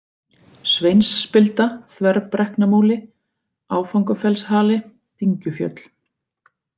Sveinsspilda, Þverbrekknamúli, Áfangafellshali, Dyngjufjöll